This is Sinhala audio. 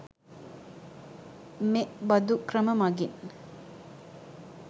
මෙ බඳු ක්‍රම මගින්